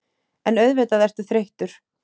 En auðvitað ertu þreyttur.